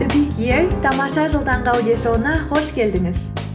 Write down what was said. тамаша жыл таңғы аудиошоуына қош келдіңіз